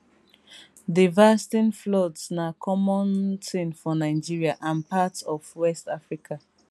devasting floods na common tin for nigeria and parts of west africa